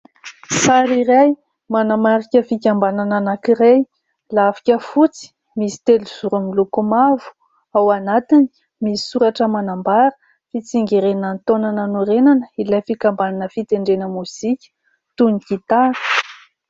Sary iray manamarika fikambanana anankiray. Lafika fotsy misy telozoro miloko mavo, ao anatiny misy soratra manambara fitsingerenan'ny taona nanorenana ilay fikambanana fitendrena mozika toy ny gitara.